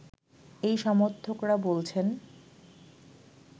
এই সমর্থকরা বলছেন